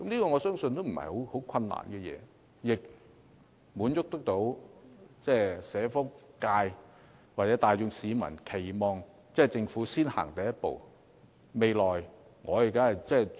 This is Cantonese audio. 我相信這並非甚麼難事，亦可以滿足社福界或市民大眾的期望，由政府先踏出第一步。